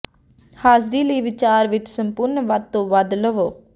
ਹਾਜ਼ਰੀ ਲਈ ਵਿਚਾਰ ਵਿਚ ਸੰਪੂਰਨ ਵੱਧ ਤੋਂ ਵੱਧ ਲਵੋ